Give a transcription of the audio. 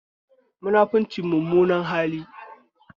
Munafunci mummunar hali